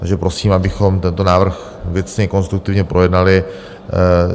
Takže prosím, abychom tento návrh věcně, konstruktivně projednali.